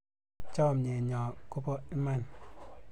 Chomyet nyoo kopo iman